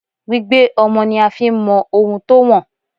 Gbígbé ọmọ ni a fi ń mọ ohun tó wọ̀n.